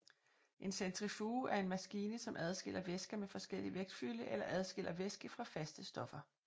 En centrifuge er en maskine som adskiller væsker med forskellig vægtfylde eller adskiller væske fra faste stoffer